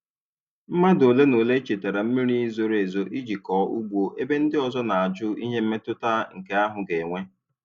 Mmadụ ole na ole chetara mmiri zoro ezo iji kọọ ugbo ebe ndị ọzọ na-ajụ ihe mmetụta nke ahụ ga-enwe.